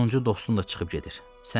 Sonuncu dostun da çıxıb gedir.